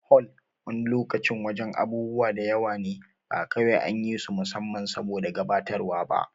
Hol wani lokacin wajen abubuwa da yawa ne ba kawai an yi su musamman saboda gabatarwa ba